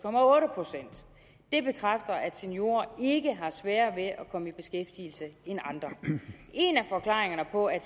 procent det bekræfter at seniorer ikke har sværere ved at komme i beskæftigelse end andre en af forklaringerne på at